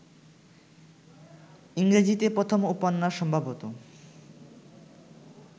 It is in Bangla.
ইংরেজীতে প্রথম উপন্যাস সম্ভবত